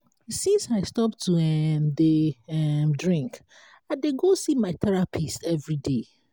since i stop to um dey um drink i dey go see my therapist everyday